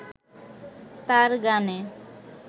তাঁর গানে